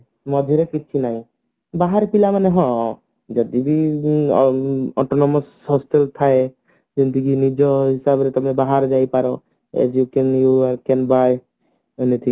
ମଝିରେ କିଛି ନାଇଁ ବାହାରେ ପିଲାମାନେ ହଁ ଯଦି ବି autonomous hostel ଥାଏ ଯେମତିକି ନିଜ ହିସାବରେ ତମେ ବାହାର ଯାଇପାର as you can you can buy anything